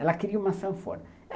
Ela queria uma sanfona.